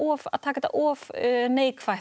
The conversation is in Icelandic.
að taka þetta of neikvætt að